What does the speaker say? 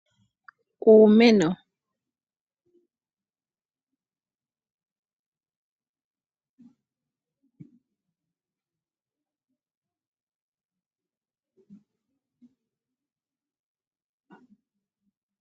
Opena uumeno mboka hawu kunwa muupoto mboka hawu tulwa momagumbo opo gamonike nawa.